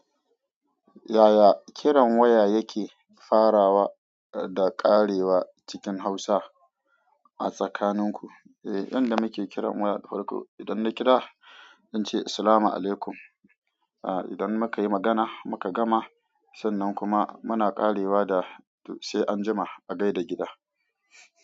Yaya kiran waya yake farawa da ƙarewa cikin Hausa a tsakaninku? Eh, yadan muke kiran waya da farko, idan na kira, zan ce "Salamu alaikum". Ah, idan muka yi magana muka gama, sannan kuma muna ƙarewa da to "sai anjima", a gai da gida.